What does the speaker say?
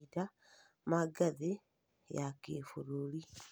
mahinda ma ngathĩ ya kĩbũrũri,